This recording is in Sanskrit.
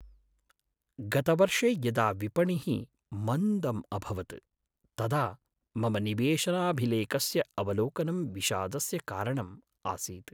गतवर्षे यदा विपणिः मन्दम् अभवत् तदा मम निवेशनाभिलेखस्य अवलोकनं विषादस्य कारणम् आसीत्।